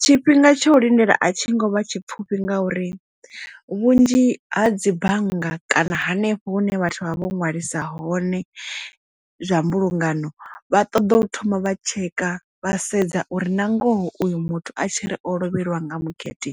Tshifhinga tsha u lindela a tshi ngovha tshipfufhi ngauri vhunzhi ha dzi bannga kana hanefho hune vhathu vha vho ṅwalisa hone zwa mbulungano vha ṱoḓa u thoma vha tsheka vha sedza uri na ngoho uyu muthu a tshi ri o lovheliwa nga mugede